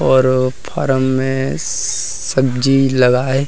और फार्म में सब्जी लगा है।